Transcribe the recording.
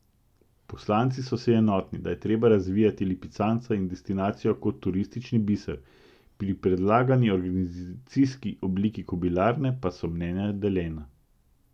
Poslanci so si enotni, da je treba razvijati lipicanca in destinacijo kot turistični biser, pri predlagani organizacijski obliki kobilarne pa so mnenja deljena.